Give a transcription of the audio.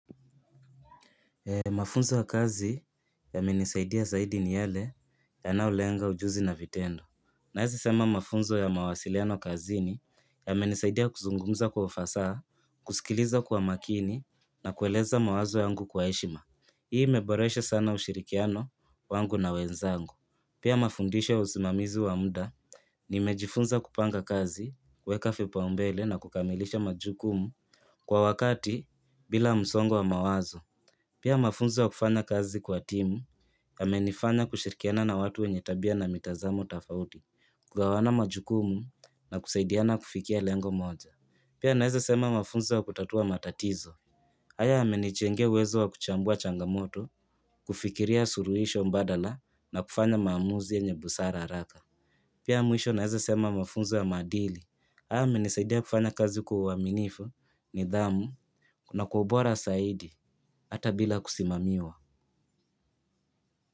Mafunzo ya kazi yamenisaidia zaidi ni yele yanayolenga ujuzi na vitendo. Naweza sema mafunzo ya mawasiliano kazini yamenisaidia kuzungumza kwa ufasaha, kusikiliza kwa makini na kueleza mawazo yangu kwa heshima. Hii imeboresha sana ushirikiano wangu na wenzangu. Pia mafundisho ya usimamizi wa muda nimejifunza kupanga kazi, kuweka vipaumbele na kukamilisha majukumu kwa wakati bila msongo wa mawazo. Pia mafunzo ya kufanya kazi kwa timu, yamenifanya kushirikiana na watu wenye tabia na mitazamo tofauti, kugawana majukumu na kusaidiana kufikia lengo moja. Pia naweza sema mafunzo ya kutatua matatizo, haya yamenijengea uwezo wa kuchambua changamoto, kufikiria suluhisho mbadala na kufanya maamuzi yenye busara haraka Pia mwisho naweza sema mafunzo ya maadili. Haya yamenisaidia kufanya kazi kwa uaminifu, nidhamu na kwa ubora zaidi hata bila kusimamiwa.